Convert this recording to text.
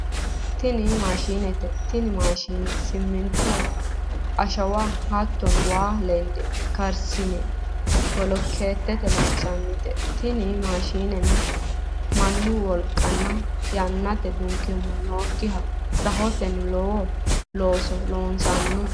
Tini maashinete, tini maashinne siminto ashawa hatono wayi ledo karisise bolokeete loosanote, tini maashinenno manu woliqanninna yanate dunkima nookiha rahotenni lowo looso loosano